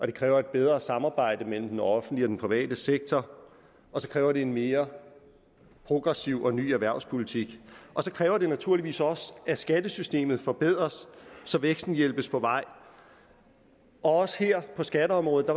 det kræver et bedre samarbejde mellem den offentlige og den private sektor og så kræver det en mere progressiv og ny erhvervspolitik så kræver det naturligvis også at skattesystemet forbedres så væksten hjælpes på vej og også her på skatteområdet